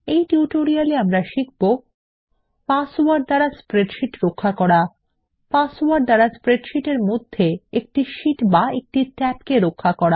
এই টিউটোরিয়াল আমাদের শিখব পাসওয়ার্ড দ্বারা স্প্রেডশীট রক্ষা করা পাসওয়ার্ড দ্বারা স্প্রেডশীট এর মধ্যে একটি শীট বা একটি ট্যাবকে রক্ষা করা